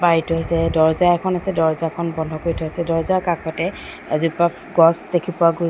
এইটো হৈছে দৰ্জা এখন আছে দৰ্জাখন বন্ধ কৰি থৈছে দৰ্জাৰ কাষতে এজোপা গছ দেখি পোৱা গৈছে।